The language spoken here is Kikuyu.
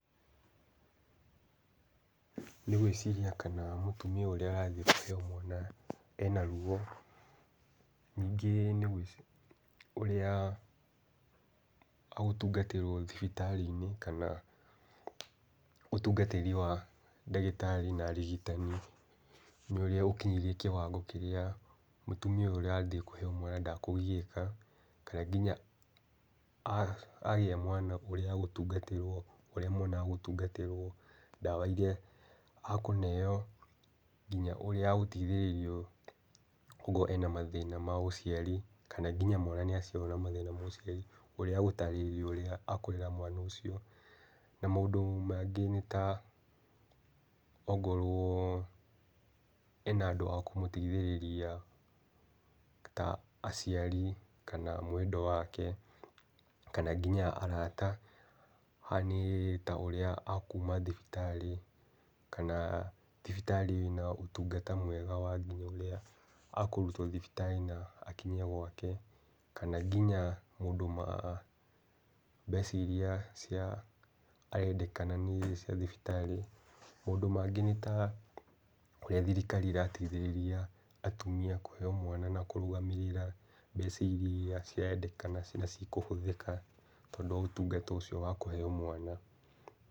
Nĩ ngwĩciria kana mũtumia ũrĩa arathiĩ kũheo mwana ema ruo. Ningĩ nĩ ngwĩciria ũrĩa gũtungatĩrwo thibitarĩ-inĩ kana, ũtungatĩri wa ndagĩtarĩ na arigitani nĩũrĩa ũkinyĩirie kĩwango kĩrĩa mũtumia ũyũ ũrathiĩ kũheo mwana ndakũgiĩka, kana nginya agĩa mwana ũrĩa agũtungatĩrwo ũrĩa mwana agũtungatĩrwo, ndawa iria akũneo, nginya ũrĩa agũteithĩrĩrio okorwo ena mathĩna ma ũciari kana nginya mwana nĩaciarwo na mathĩna ma ũciari ũrĩa agũtaarĩria ũrĩa akwĩra mwana ũcio. Na maũndũ mangĩ nĩ ta, ongorwo ena andũ a kũmũteithĩrĩria ta aciari kana mwendwa wake, kana kinya arata haha nĩ ta ũrĩa akuma thibitarĩ kana thibitarĩ ĩna ũtungata mwega wa nginya ũrĩa akũrutwo thibitarĩ-inĩ na akinyio gwake, kana nginya maũndũ ma mbeca iria cia arendekana nĩ cia thibitarĩ. Maũndũ mangĩ nĩ ta ũrĩa thirikari ĩrateithĩrĩria atumia kũheo mwana na kũrũgamĩrĩra mbeca iria ciredekana na cikũhũthĩka tondũ wa ũtungata ũcio wa kũheo mwana.